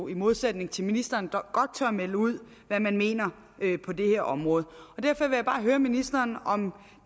i modsætning til ministeren godt tør melde ud hvad man mener på det her område derfor vil jeg bare høre ministeren om